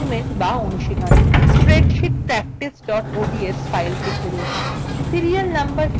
assignment বা অনুশীলনী